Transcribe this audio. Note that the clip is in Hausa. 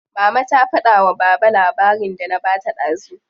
Mama ta fada wa baba labarin da na bata dazu.